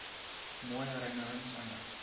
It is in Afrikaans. mooi herinnerings inhou